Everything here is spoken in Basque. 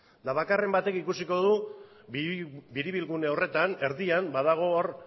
eta bakarren batek ikusiko du biribilgune horretan erdian badago hor